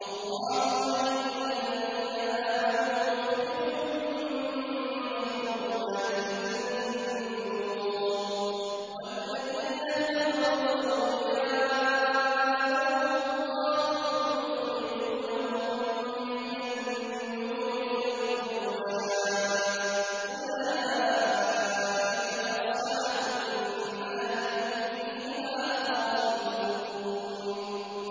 اللَّهُ وَلِيُّ الَّذِينَ آمَنُوا يُخْرِجُهُم مِّنَ الظُّلُمَاتِ إِلَى النُّورِ ۖ وَالَّذِينَ كَفَرُوا أَوْلِيَاؤُهُمُ الطَّاغُوتُ يُخْرِجُونَهُم مِّنَ النُّورِ إِلَى الظُّلُمَاتِ ۗ أُولَٰئِكَ أَصْحَابُ النَّارِ ۖ هُمْ فِيهَا خَالِدُونَ